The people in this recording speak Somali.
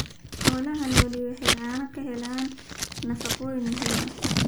Xoolaha nooli waxa ay caanaha ka helaan nafaqooyin muhiim ah.